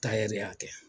de y'a kɛ